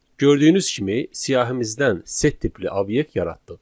Gördüyünüz kimi, siyahımızdan set tipli obyekt yaratdıq.